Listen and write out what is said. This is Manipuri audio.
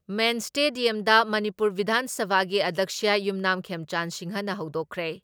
ꯃꯦꯟ ꯏꯁꯇꯦꯗꯤꯌꯝꯗ ꯃꯅꯤꯄꯨꯔ ꯕꯤꯙꯥꯟ ꯁꯚꯥꯒꯤ ꯑꯗ꯭ꯌꯛꯁ ꯌꯨꯝꯅꯥꯝ ꯈꯦꯝꯆꯥꯟ ꯁꯤꯡꯍꯅ ꯍꯧꯗꯣꯛꯈ꯭ꯔꯦ ꯫